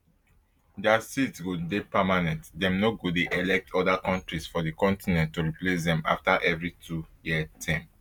dia seat go dey permanent dem no go dey elect oda kontris for di continent to replace dem afta evri twoyear term